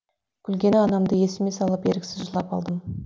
күлгені анамды есіме салып еріксіз жылап алдым